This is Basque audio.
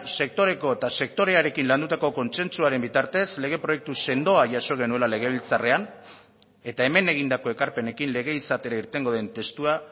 sektoreko eta sektorearekin landutako kontsentsuaren bitartez lege proiektu sendoa jaso genuela legebiltzarrean eta hemen egindako ekarpenekin lege izatera irtengo den testua